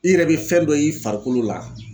I yɛrɛ be fɛn dɔ ye i farikolo la